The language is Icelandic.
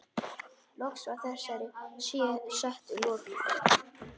Loks var þessari setu lokið.